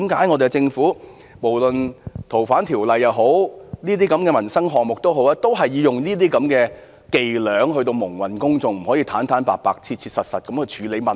為何政府在《逃犯條例》或民生項目上，也要使用這種伎倆蒙混公眾，而不坦白地、切實地去處理問題？